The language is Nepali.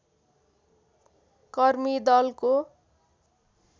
कर्मी दलको